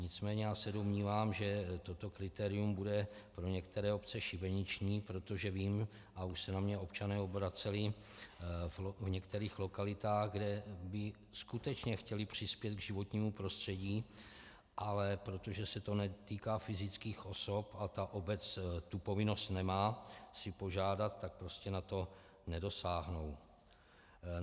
Nicméně já se domnívám, že toto kritérium bude pro některé obce šibeniční, protože vím - a už se na mě občané obraceli v některých lokalitách, kde by skutečně chtěli přispět k životnímu prostředí, ale protože se to netýká fyzických osob a ta obec tu povinnost nemá si požádat, tak prostě na to nedosáhnou.